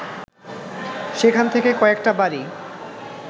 সেখান থেকে কয়েকটা বাড়ি